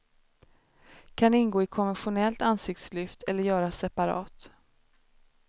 Kan ingå i konventionellt ansiktslyft eller göras separat.